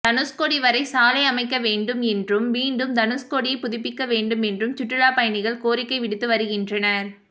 தனுஷ்கோடி வரை சாலை அமைக்க வேண்டும் என்றும் மீண்டும் தனுஷ்கோடியைப் புதுப்பிக்க வேண்டுமென்றும் சுற்றுலா பயணிகள் கோரிக்கை விடுத்து வருகின்றனர்